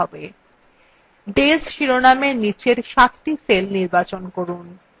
days শিরোনামের নীচের সাতটি cells নির্বাচন করুন